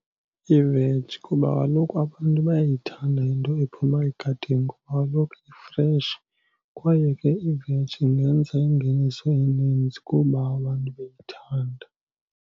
Iveji kuba kaloku abantu bayayithanda into ephuma egadini kuba kaloku ifreshi. Kwaye ke iveji ingenza ingeniso eninzi kuba abantu beyithanda.